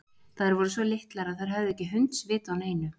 Þær voru svo litlar að þær höfðu ekki hundsvit á neinu.